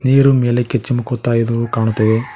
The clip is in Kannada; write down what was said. ನೀರು ಮೇಲಕ್ಕೆ ಚಿಮುಕುತ್ತಾ ಇದು ಕಾಣುತ್ತವೆ.